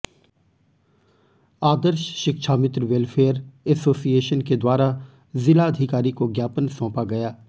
आदर्श शिक्षामित्र welfare association के द्वारा जिलाधिकारी को ज्ञापन सौपा गया